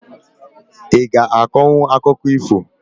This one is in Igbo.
I g'a akọnwu akụkọ ifo?